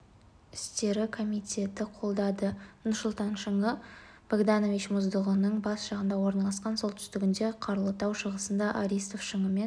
істері комитеті қолдады нұрсұлтан шыңы богданович мұздығының бас жағында орналасқан солтүстігінде қарлытау шығысында аристов шыңымен